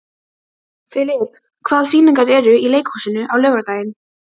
Filip, hvaða sýningar eru í leikhúsinu á laugardaginn?